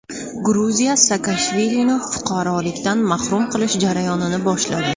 Gruziya Saakashvilini fuqarolikdan mahrum qilish jarayonini boshladi.